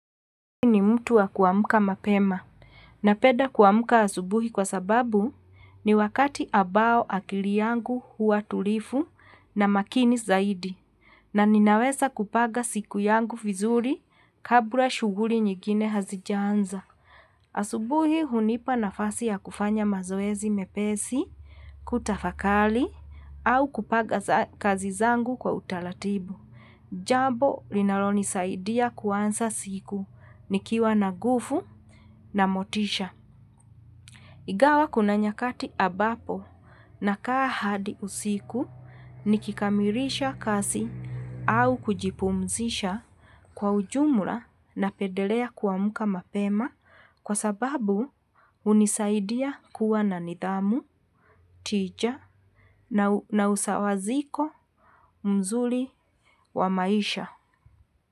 Mtu wa kuamka mapema. Na peda kuamka asubuhi kwa sababu ni wakati abao akili yangu huwa tulifu na makini zaidi. Na ninawesa kupaga siku yangu fizuri kabla shuguri nyigine hazijanza. Asubuhi hunipa nafasi ya kufanya mazoezi mepesi, kutafakali, au kupaga kazi zangu kwa utalatibu. Jabo linaloni saidia kuansa siku ni kiwa nagufu na motisha. Igawa kuna nyakati abapo na kaa hadi usiku ni kikamirisha kasi au kujipumzisha kwa ujumula na pedelea kuwa muka mapema kwa sababu unisaidia kuwa na nidhamu, tija na usawaziko mzuli wa maisha.